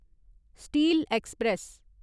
steel express